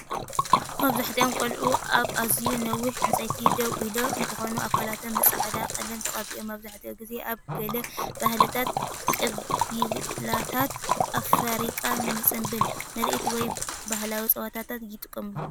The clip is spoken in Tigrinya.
መብዛሕትኦም ቈልዑ ኣብ ኣዝዩ ነዋሕቲ ዕንጨይቲ ደው ኢሎም እንትኮኑ፣ ኣካላቶም ብፃዕዳ ቀለም ተቀቢኦም መብዛሕትኡ ግዜ ኣብ ገለ ባህልታት ቀቢላታት ኣፍሪቃ ንፅምብል ምርኢት ወይ ባህላዊ ፀወታታት ይጥቀሙሉ።